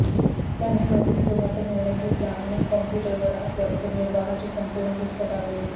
त्यांनी नोकरी सोडण्याचा निर्णय घेतला आणि कॉम्प्युटरवर आपल्या उदरनिर्वाहाची संपूर्ण भिस्त टाकली